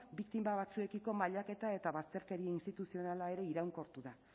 biktima batzuekiko mailaketa eta bazterkeria instituzionala ere iraunkortu da